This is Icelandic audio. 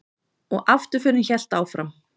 Og afturförin hélt áfram.